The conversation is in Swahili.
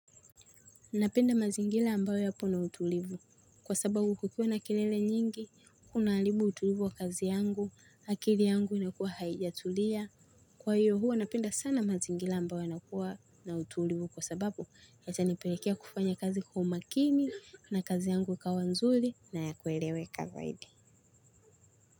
Napenda mazingila ambayo yapo na utulivu. Kwa sababu kukiwa na kelele nyingi, kuna halibu utulivu wa kazi yangu, akili yangu inakuwa haijatulia. Kwa hiyo huwa, napieda sana mazingila ambayo yanakuwa na utulivu kwa sababu yatanipelekea kufanya kazi kwa umakini na kazi yangu ikawa nzuli na yakueleweka zaidi.